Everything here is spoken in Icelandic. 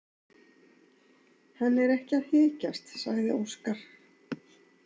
Hann er ekki að þykjast, sagði Óskar.